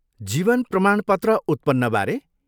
जीवन प्रमाणपत्र उत्पन्नबारे?